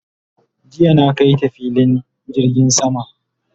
jiya na kaita filin jirgin sama